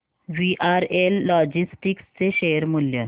VRL logistics चे share मूल्य